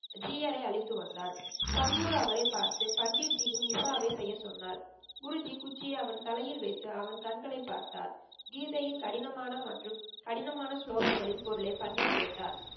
ஜீயரை அழைத்து வந்தார். சத் குரு அவரை பார்த்து பண்டித்ஜியின் விசாவை செய்ய சொன்னார். குருஜி குச்சியை அவன் தலையில் வைத்து அவன் கண்களை பார்த்தார். கீதையின் கடினமான மற்றும் கடினமான சுலோகங்களின் பொருளை பண்டித் கேட்டார்.